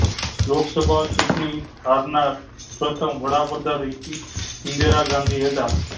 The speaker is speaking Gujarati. લોક સભા ચૂંટણી હરનાર પ્રથમ વડાપ્રધાન ઈ ઇન્દિરા ગાંધી હતા